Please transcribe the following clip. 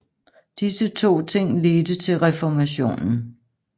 Disse to ting ledte til reformationen